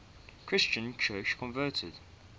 christian church convened